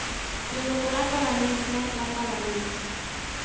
leloko la palamente la palamente